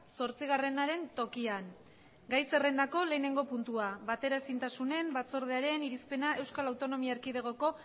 zortzigarrenaren tokian gai zerrendako lehenengo puntua bateraezintasunen batzordearen irizpena euskal autonomia erkidegoko